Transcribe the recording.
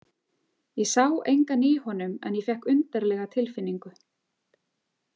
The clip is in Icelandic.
Ég sá engan í honum en ég fékk undarlega tilfinningu.